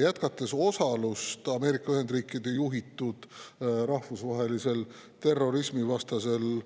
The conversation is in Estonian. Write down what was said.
Jätkates osalust Ameerika Ühendriikide juhitud rahvusvahelisel terrorismivastasel